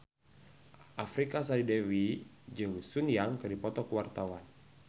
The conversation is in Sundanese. Artika Sari Devi jeung Sun Yang keur dipoto ku wartawan